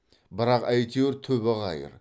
бірақ әйтеуір түбі қайыр